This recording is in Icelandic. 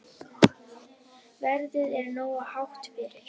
Verðið er nógu hátt fyrir.